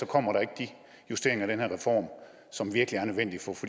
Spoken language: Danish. kommer de justeringer af den her reform som virkelig er nødvendige for at